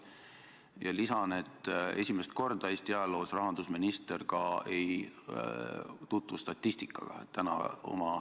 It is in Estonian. Samuti lisan, et esimest korda Eesti ajaloos rahandusminister ka ei tutvu statistikaga.